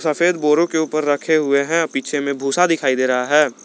सफेद बोरों के ऊपर रखे हुए हैं। पीछे में भूसा दिखाई दे रहा है।